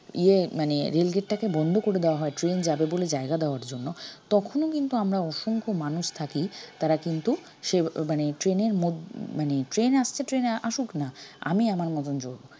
ইয়ে মানে rail gate টাকে বন্ধ করে দেওয়া হয় train যাবে বলে জায়গা দেওয়ার জন্য তখনও কিন্তু আমরা অসংখ্য মানুষ থাকি তারা কিন্তু সে মানে train এর মদ~মানে train আসছে train আসুক না আমি আমার মতন চলব